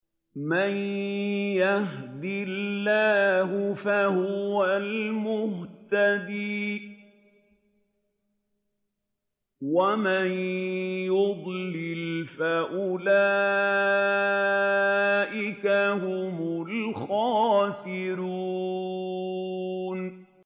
مَن يَهْدِ اللَّهُ فَهُوَ الْمُهْتَدِي ۖ وَمَن يُضْلِلْ فَأُولَٰئِكَ هُمُ الْخَاسِرُونَ